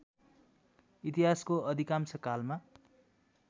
इतिहासको अधिकांश कालमा